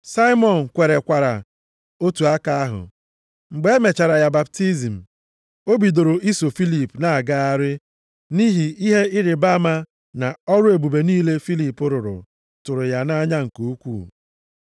Saimọn kwerekwara otu aka ahụ. Mgbe e mechara ya baptizim, o bidoro iso Filip na-agagharị nʼihi ihe ịrịbama na ọrụ ebube niile Filip rụrụ, tụrụ ya nʼanya nke ukwuu.